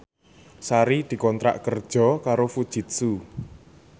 Sari dikontrak kerja karo Fujitsu